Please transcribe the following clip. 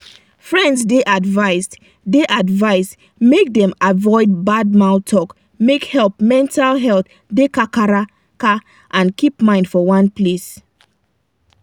friends dey advised dey advised make dem avoid bad mouth talk make help mental health da kakaraka and keep mind for one place